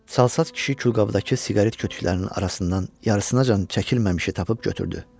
Çalsat kişi külqabdakı siqaret kütüklərinin arasından yarısınaacan çəkilməmişi tapıb götürdü.